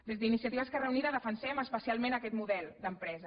des d’iniciativa esquerra unida defensem especialment aquest model d’empresa